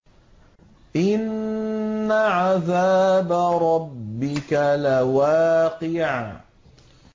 إِنَّ عَذَابَ رَبِّكَ لَوَاقِعٌ